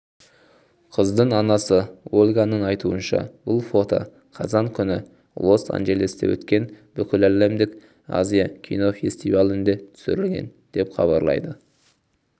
қыздың анасы ольганың айтуынша бұл фото қазан күні лос-анджелесте өткен бүкіләлемдік азия кинофестивалінде түсірілген деп хабарлайды